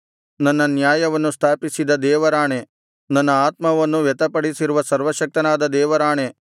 ನನ್ನ ನ್ಯಾಯವನ್ನು ತಪ್ಪಿಸಿದ ದೇವರಾಣೆ ನನ್ನ ಆತ್ಮವನ್ನು ವ್ಯಥೆಪಡಿಸಿರುವ ಸರ್ವಶಕ್ತನಾದ ದೇವರಾಣೆ